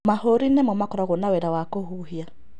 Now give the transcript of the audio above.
Mahũri nĩmo makoragwo na wĩra wa kũhuhia.